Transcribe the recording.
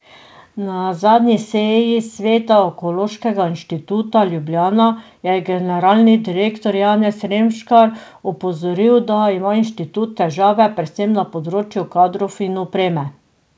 Na zadnji seji sveta Onkološkega inštituta Ljubljana je generalni direktor Janez Remškar opozoril, da ima inštitut težave predvsem na področju kadrov in opreme.